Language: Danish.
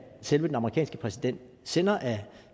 selve den amerikanske præsident sender af